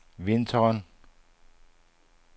vinteren